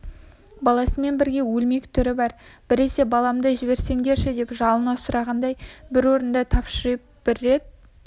баласымен бірге өлмек түрі бар біресе баламды жіберсеңдерші деп жалына сұрағандай бір орында тыпыршиды бір рет